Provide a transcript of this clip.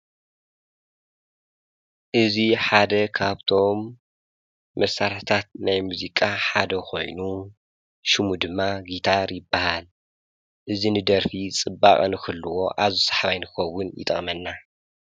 እዚ ሓደ ካብ ቶም መሰርሕታት ናይ መዚቃ ሓደ ኮኾይኑ ሽሙ ደማ ጊታር ይብሃል እዚ ንደርፍ ፅባቀ ንክሕልዎ ኣዝዩ ሰሓባይ ንንከውን ይጠቅመና።